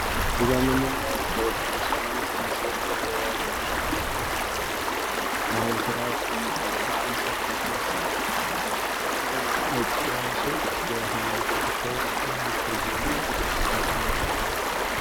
እዚጋም የምናዬው በኦርቶዶክስ ሀይማኖት የሚዘወተር የባህል ስርአት ይመስላል ነጭ ለባብሰው የሀይማኖት ተከታዮች ቆመው ይታያሉ ከቤተክርስቲያን ፊት ለፊት።